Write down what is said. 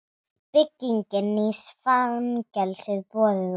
Bygging nýs fangelsis boðin út